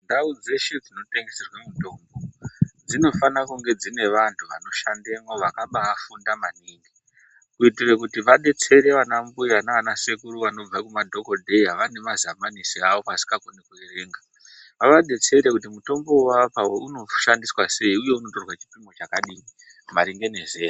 Ndau dzeshe dzinotengeserwe mitombo dzinofana kunge dzine vanhu vanoshandemwo vakabafunda maningi kuiira kuti vadetsere vana mbuya nana sekuru vanobva kumadhokoteya vane mazamanisi avo vasikakoni kuverenga vadetsere kuti mutombo wavavapa uyu unoshandiswa sei uye unotorwa chipimo chakadini maringe nezera.